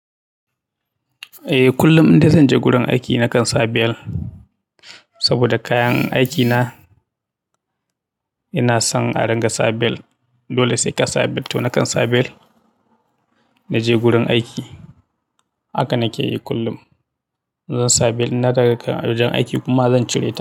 Eh kullum inda zan je gurin aiki na kan sa bel saboda kayan aiki na yana son a ringa sa bel. Dole sai ka sa bel to na kan sa bel naje gurin aiki haka nake yi kullum. Zan sa bel inna dawo daga wajen aiki kuma zan cire ta.